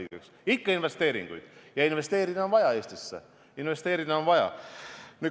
Ikka tuleb investeeringuid teha ja Eestisse investeerida on vaja.